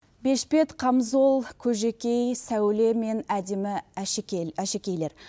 бешпент қамзол көжекей сәуле мен әдемі әшекейлер